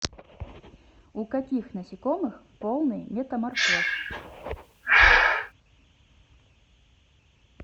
у каких насекомых полный метаморфоз